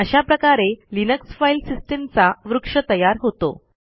अशा प्रकारे Linux file सिस्टीमचा वृक्ष तयार होतो